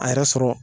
A yɛrɛ sɔrɔ